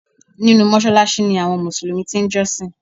Nínú Mósáláásí ni àwọn Mùsùlùmí ti n jọ́sìn